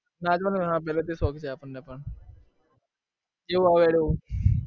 નાચવાનો ને? હા પહેલેથી શોખ છે આપણને પણ. જેવું આવડે એવું